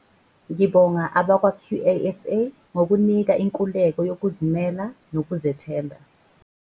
"Ngibonga abakwa-QASA ngokunginika inkululeko yokuzimela nokuzethemba."